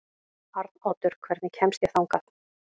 Arnoddur, hvernig kemst ég þangað?